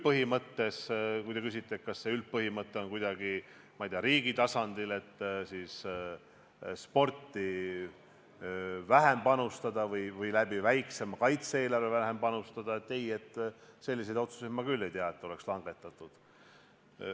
Kui te küsite, kas üldpõhimõte on riigi tasandil sporti vähem panustada või läbi väiksema kaitse-eelarve vähem panustada, siis ei, mina küll ei tea, et selliseid otsuseid oleks langetatud.